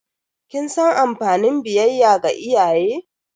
Kin san amfanin biyayya ga iyaye?